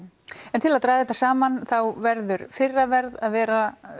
en til að draga þetta saman þá verður fyrra verð að vera